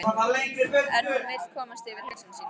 En hún vill komast yfir hugsanir sínar.